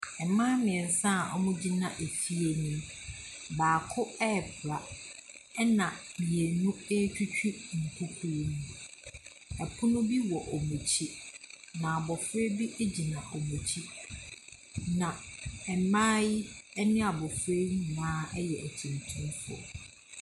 Mmaa mmeɛnsa a wɔgyina efie bi mu. Baako repra, ɛna mmmienu retwitwi nkukuo mu. Pono bi wɔ wɔn akyi na abɔfra bo gyina wɔn akyi. Na mmaa yi ne abɔfra yi nyinaa yɛ atuntumfoɔ.